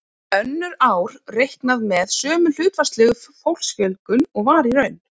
Önnur ár er reiknað með sömu hlutfallslegu fólksfjölgun og var í raun.